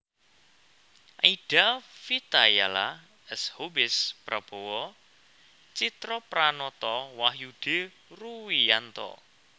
Aida Vitayala S Hubeis Prabowo Tjitropranoto Wahyudi Ruwiyanto